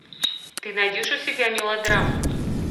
ты найдешь у себя мелодраму